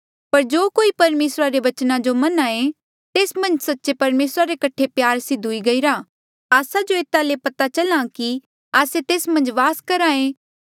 पर जो कोई परमेसरा रे बचना जो मन्हां ऐें तेस मन्झ सच्चे परमेसरा रे कठे प्यार सिद्ध हुई गईरा आस्सा जो एता ले पता चल्हा आ कि आस्से तेस मन्झ वास करहा ऐें